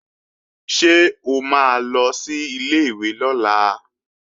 Ṣé o máa lọ sí ilé-ìwé lọ́la?